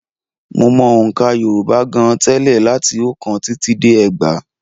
Mo mọ ọ̀ǹkà Yorùbá gan-an tẹ́lẹ̀ láti oókán títí dé ẹgbàá